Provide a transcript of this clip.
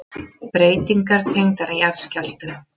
Breytingar tengdar jarðskjálftum